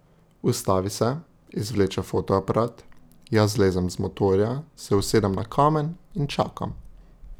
Ustavi se, izvleče fotoaparat, jaz zlezem z motorja, se usedem na kamen in čakam.